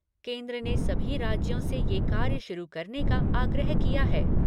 केन्द्र ने सभी राज्यों से यह कार्य शुरू करने का आग्रह किया है।